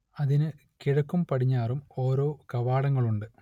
അതിനു കിഴക്കും പടിഞ്ഞാറും ഓരോ കവാടങ്ങളുണ്ട്